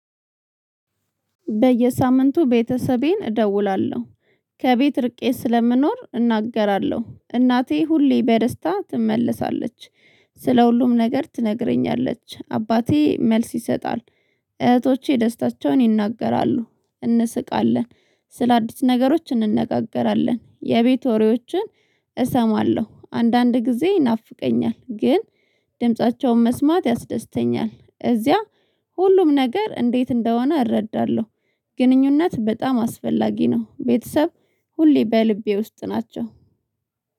በየሳምንቱ ቤተሰቤን እደውላለሁ። ከቤት ርቄ ስለምኖር እናገራለሁ፤ እናቴ ሁሌ በደስታ ትመለሳለች፤ ስለ ሁሉም ነገር ትነግረኛለች፤ አባቴ መልስ ይሰጣል፤ እህቶቼ ደስታቸውን ይናገራሉ፤ እንስቃለን ስለአዲስ ነገሮች እንነጋገራለን፤ የቤት ወሬዎችን እሰማለሁ፤ አንዳንድ ጊዜ ይናፍቀኛል ግን ድምፃቸውን መስማት ያስደስተኛል እዚያ ሁሉም ነገር እንዴት እንደሆነ እረዳለሁ ግንኙነት በጣም አስፈላጊ ነው ቤተሰብ ሁሌ በልቤ ውስጥ ናቸው።